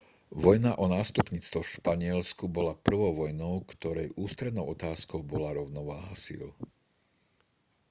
vojna o nástupníctvo v španielsku bola prvou vojnou ktorej ústrednou otázkou bola rovnováha síl